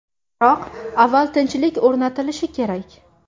Biroq avval tinchlik o‘rnatilishi kerak.